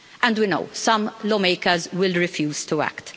We know some lawmakers will refuse to act.